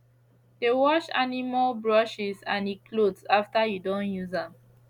de wash animal brushes and e cloths after you don use am